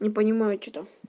не понимаю что